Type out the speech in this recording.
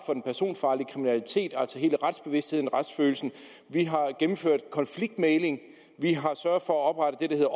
personfarlig kriminalitet altså hele retsbevidstheden og retsfølelsen vi har gennemført konfliktmægling vi har sørget for at oprette det der